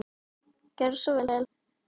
Gjörðu svo vel.